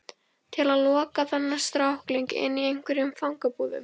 Til að loka þennan strákling inni í einhverjum fangabúðum?